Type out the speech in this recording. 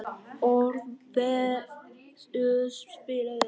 Orfeus, spilaðu lag.